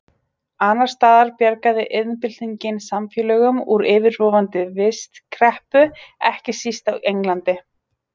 Annars staðar bjargaði iðnbyltingin samfélögum úr yfirvofandi vistkreppu, ekki síst á Englandi.